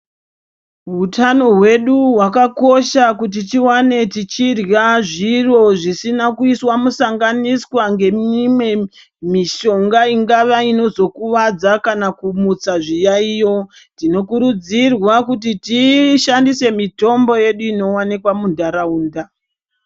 Hutano hwedu hwakakosha kuti tiwane tichirya zviro zvisina kuiswa musanganiswa neimwe mishonga ingava inozokuwadza kana kumuta zviyayo tinokurudzirwa kuti tishandise mitombo yedu inowanikwa mundaraunda.